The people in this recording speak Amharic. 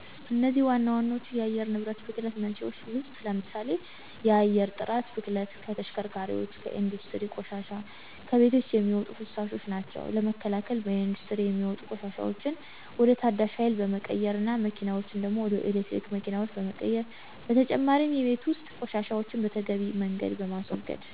እነዚህ ዋና ዋናዎቹ የአየር ንብረት ብክለት መንስኤዎች ውስጥ (ለምስሌ፣ የአየር ጥራት ብክለት ከተሽከርካሪዎች፣ ከኢንዱስትሪ ቆሻሻ፣ ከቤቶች ሚወጡ ፍሳሾች) ናቸው። ለመከላከል በኢንዱስትሪ የሚወጡ ቆሻሻዎችን ወደ ታዳሽ ሀይል በመቀየር እና መኪኖችን ደግም ወደ ኤሌክትሪክ መኪኖች በመቀየር በተጨማሪ የቤት ውስጥ ቆሻሻዎችን በተገቢው መንግድ በማስወገድ